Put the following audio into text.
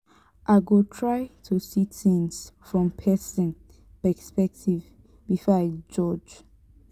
i go try to see things from pesin perspective before i judge.